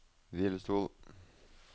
hvilestol